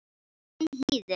Hún hlýðir.